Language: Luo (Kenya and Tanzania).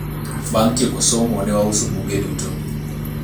bang tieko somo ne wauso buge duto